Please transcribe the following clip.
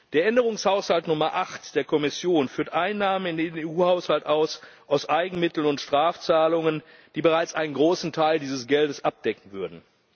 Der Änderungshaushalt Nummer 8 der Kommission führt Einnahmen in den EU Haushalt auf aus Eigenmitteln und Strafzahlungen, die bereits einen großen Teil dieses Geldes abdecken würden.